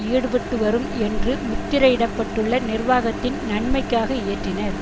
ஈடுபட்டு வரும் என்று முத்திரையிடப்பட்டுள்ள நிர்வாகத்தின் நன்மைக்காக இயற்றினர்